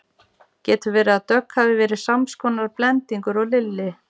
Getur verið að Dogg hafi verið sams konar blendingur og Lilli?